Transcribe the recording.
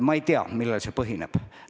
Ma ei tea, millel see põhineb.